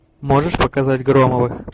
можешь показать громовых